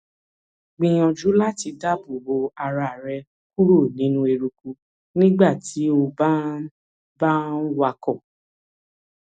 gbìyànjú láti dáàbò bo ara rẹ kúrò nínú eruku nígbà tí o bá ń bá ń wakọ